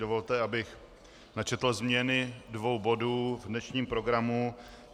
Dovolte, abych načetl změny dvou bodů v dnešním programu.